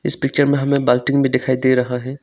इस पिक्चर में हमें बाल्टी भी दिखाई दे रहा है।